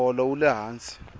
moholo wule hansi